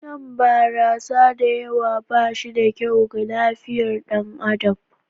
Shan barasa da yawa ba shi da kyau ga lafiyar ɗan adam.